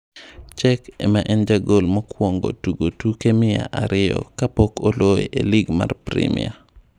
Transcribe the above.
Cech ema en jagol mokwongo tugo tuke mia ariyo ka pok oloye e lig mar primia.